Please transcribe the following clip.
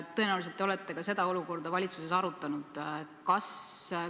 Tõenäoliselt te olete seda olukorda valitsuses arutanud.